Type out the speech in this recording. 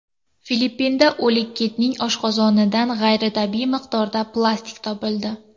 Filippinda o‘lik kitning oshqozonidan g‘ayritabiiy miqdorda plastik topildi.